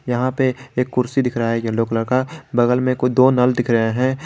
यहां पे एक कुर्सी दिख रहा है येलो कलर का बगल में कोई दो नल दिख रहे हैं।